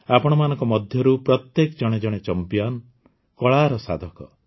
ଆପଣମାନଙ୍କ ମଧ୍ୟରୁ ପ୍ରତ୍ୟେକେ ଜଣେ ଜଣେ ଚମ୍ପିଆନ୍ କଳାର ସାଧକ